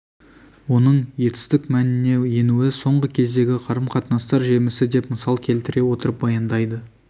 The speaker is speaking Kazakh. оның етістік мәніне енуі соңғы кездегі қарым-қатынастар жемісі деп мысал келтіре отырып баяндайды